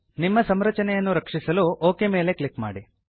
ನಿಮ್ಮ ಸಂರಚನೆಯನ್ನು ರಕ್ಷಿಸಲು ಒಕ್ ಮೇಲೆ ಕ್ಲಿಕ್ ಮಾಡಿ